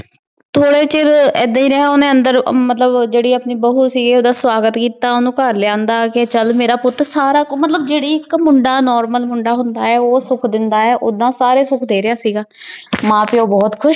ਏਦਾਂ ਈ ਰਹ੍ਯ ਓਹਨੇ ਅੰਦਰ ਮਤਲਬ ਜੇਰੀ ਆਪਣੀ ਬਹੁ ਸੀਗੀ ਓਹਦਾ ਸਵਾਗਤ ਕੀਤਾ ਓਹਨੁ ਘਰ ਲੇ ਅੰਦਾ ਕੇ ਚਲ ਮੇਰਾ ਪੁਤ ਸਾਰਾ ਕੁਛ ਮਤਲਬ ਜੇਰੀ ਕੁ ਹੁੰਦਾ ਆਯ normal ਹੁੰਦਾ ਆਯ ਊ ਸੁਖ ਦੇਂਦਾ ਆਯ ਊ ਸਾਰੇ ਸੁਖ ਡੀ ਰਯ ਸੀਗਾ ਮਾਂ ਪਾਯੋ ਬੋਹਤ ਖੁਸ਼